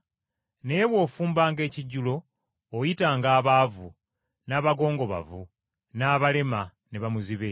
Naye bw’ofumbanga ekijjulo, oyitanga abaavu, n’abagongobavu, n’abalema ne bamuzibe.